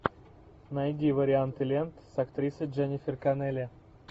найди варианты лент с актрисой дженнифер коннелли